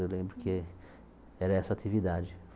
Eu lembro que era essa atividade.